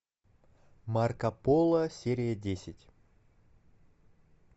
марко поло серия десять